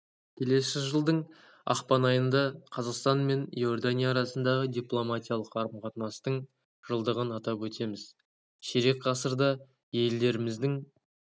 келесі жылдың ақпан айында қазақстан мен иордания арасындағы дипломатиялық қарым-қатынастың жылдығын атап өтеміз ширек ғасырда елдеріміздің